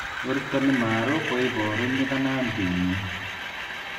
Werto nimeruu kuiporu nyikananti nyin.